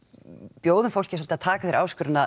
bjóðum fólki að taka þeirri áskorun